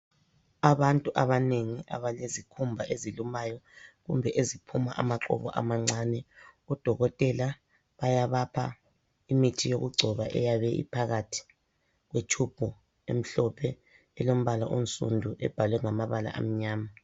Abantu abanengi abalezikhumba ezilumayo kumbe eziphuma amaqubu amancane, odokotela bayabapha imithi yokugcoba eyabe iphakathi kwetshubhu emhlophe elombala onsudu ebhalwe ngamabala amnyama.